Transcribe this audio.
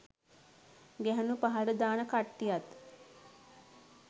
ගැහුණු පහලට දාන කට්ටියත්